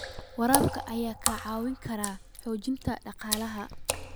Waraabka ayaa kaa caawin kara xoojinta dhaqaalaha.